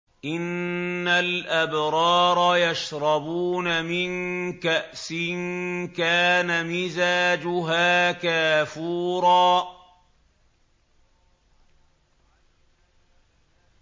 إِنَّ الْأَبْرَارَ يَشْرَبُونَ مِن كَأْسٍ كَانَ مِزَاجُهَا كَافُورًا